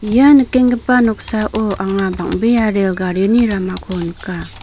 ia nikenggipa noksao anga bang·bea rel garini ramako nika.